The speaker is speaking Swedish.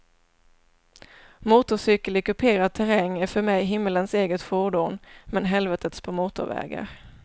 Motorcykel i kuperad terräng är för mig himmelens eget fordon men helvetets på motorvägar.